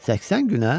80 günə?